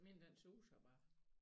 Min den suser bare